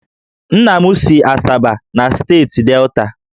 Nna m si Asaba na steeti Delta